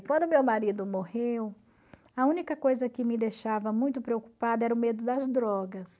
Quando meu marido morreu, a única coisa que me deixava muito preocupada era o medo das drogas.